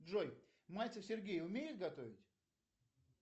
джой мальцев сергей умеет готовить